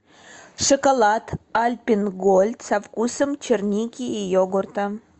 шоколад альпен гольд со вкусом черники и йогурта